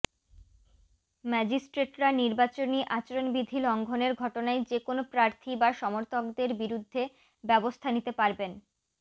ম্যাজিস্ট্রেটরা নির্বাচনী আচরণবিধি লঙ্ঘনের ঘটনায় যেকোনো প্রার্থী বা সমর্থকদের বিরুদ্ধে ব্যবস্থা নিতে পারবেন